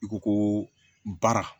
I ko ko baara